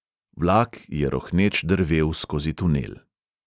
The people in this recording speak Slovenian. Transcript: Vlak je rohneč drvel skozi tunel.